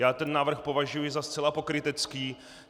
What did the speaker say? Já ten návrh považuji za zcela pokrytecký.